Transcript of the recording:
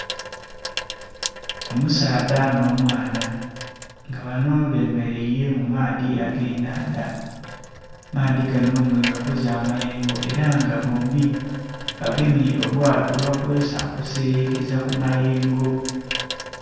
Omusaadha nh'omwana nga banho bemeleire mu maadhi ag'ennhandha, amaadhi ganho nga gakoze amayengo era nga bombi bagemye obwaato bwe bakozesa okuseyekeza ku mayengo.